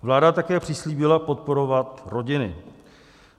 Vláda také přislíbila podporovat rodiny.